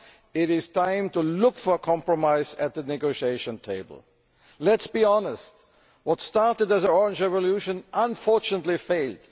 It is time now to seek compromise at the negotiating table. Let us be honest what started as the Orange Revolution unfortunately failed.